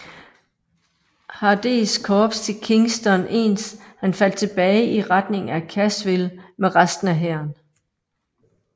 Hardees Korps til Kingston ens han faldt tilbage i retning af Cassville med resten af hæren